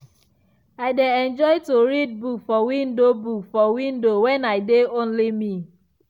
i dey enjoy to read book for window book for window when i dey only me.